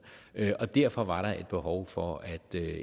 og derfor var der et behov for at